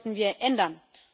Das sollten wir ändern.